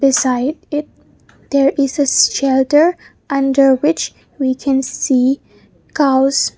beside it there is a shelter under which we can see cows.